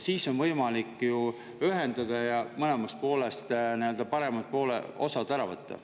Siis oleks ju võimalik need ühendada ja mõlemast paremad osad võtta.